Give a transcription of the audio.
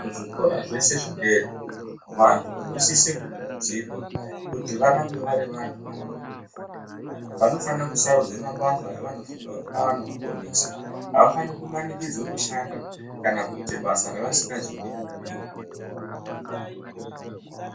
Zvikora zvese zvedera vantu vanosise kukurudzirwa kuti varambe vari vantu vanode kufunda. Vanofana kusarudze mabasa avanofunga kuti anovaponesa. Havafani kumanikidzwe kushanda kana kuita basa ravasingazodi muupenyu. Muntu unofana kubhuirwa zvekuita.